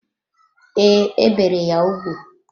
Ee, e bere ya ugwu.